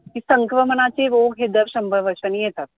कि संक्रमणाचे रोग हे दर शंभर वर्षानी येतात